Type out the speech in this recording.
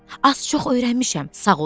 Az-çox öyrənmişəm, sağ olun.